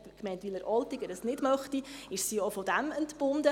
Wenn die Gemeinde Wileroltigen das nicht möchte, ist sie auch davon entbunden.